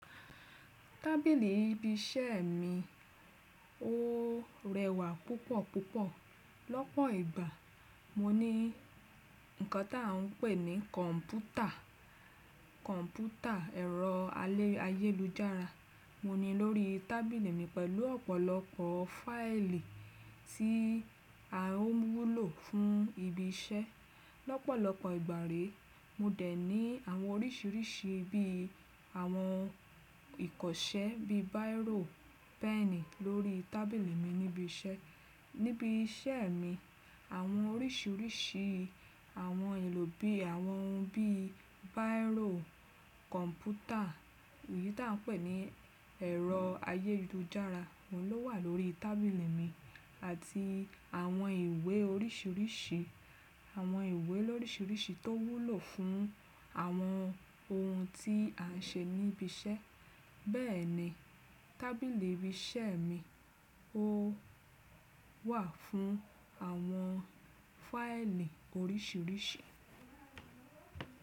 Tábìlì ibi iṣẹ́ mi ò rẹwà púpọ̀ púpọ̀. Lọ́pọ̀ ìgbà, mo ní ǹkan ta ń pè ní kọ̀npútà, kọ̀npútà ẹ̀rọ ayélujára, mo ní lórí tábìlì mi pẹ̀lú ọ̀pọ̀lọpọ̀ fáìlì tí a ó wúlò fún ibi iṣẹ́. Lọ́pọ̀lọpọ̀ ìgbà re, mo dẹ̀ ní àwọn oríṣiríṣi bí i àwọn ìkọṣẹ́ bí i bírò, pẹ́ẹ̀nì lórí tábìlì mi níbi iṣẹ́. Níbi iṣẹ́ mi, àwọn oríṣiríṣi àwọn ohun èlò bí i àwọn ohun bí i bírò, kọ̀npútà èyí tí a ń pè ní ẹ̀rọ ayélujára ló wà lórí tábìlì mi àti àwọn ìwé oríṣiríṣi, àwọn ìwé lóríṣiríṣi tó wúlò fún àwọn ohun tí a ń ṣe níbi iṣẹ́. Bẹ́ẹ̀ni, tábìlì ibi iṣẹ́ mi ò wà fún àwọn fáìlì oríṣiríṣi.